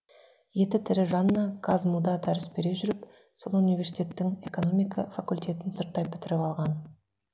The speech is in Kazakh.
еті тірі жанна казму да дәріс бере жүріп сол университеттің экономика факультетін сырттай бітіріп алған